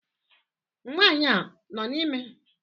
Nwanyị a nọ na ime?